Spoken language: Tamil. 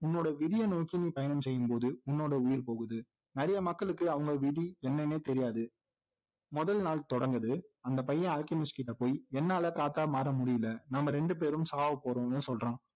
உன்னோட விதியை நோக்கி நீ பயணம் செய்யும்போது உன்னோட உயிர் போகுது நிறைய மக்களுக்கு அவங்களோட விதி என்னன்னே தெரியாது முதல் நாள் தொடங்குது அந்த பையன் அல்கெமிஸ்ட்கிட்ட போய் என்னால காத்தா மாற முடியல நாம ரெண்டுபேரும் சாகபோகிறோம்னு சொல்றான்